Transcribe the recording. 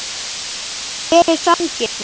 Hver er sanngirnin?